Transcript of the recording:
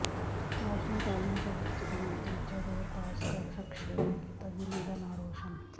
national talent search ਦਾ ਦੂਜਾ ਦੌਰ ਪਾਸ ਕਰ ਸਕਸ਼ੈ ਨੇ ਕੀਤਾ ਜ਼ਿਲ੍ਹੇ ਦਾ ਨਾਂ ਰੌਸ਼ਨ